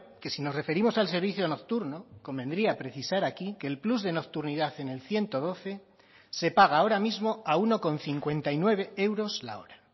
que si nos referimos al servicio nocturno convendría precisar aquí que el plus de nocturnidad en el ciento doce se paga ahora mismo a uno coma cincuenta y nueve euros la hora